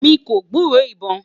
mí kò gburó ibọn